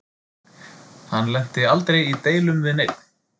Hann lenti aldrei í deilum við neinn.